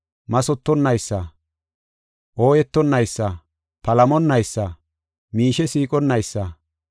mathotonaysa, ooyetonnaysa, palamonnaysa, miishe siiqonnaysa,